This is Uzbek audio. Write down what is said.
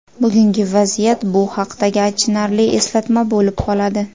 Bugungi vaziyat – bu haqdagi achinarli eslatma bo‘lib qoladi.